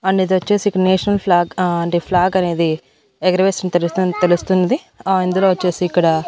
And ఇదోచ్చేసి national flag ah అంటే flag అనేది ఎగరవేసిన తెలుసున్ తెలుస్తుంది అహ్ ఇందులో వచ్చేసి ఇక్కడ.